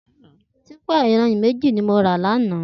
Tìpá iyànrín méji ni mó rà làná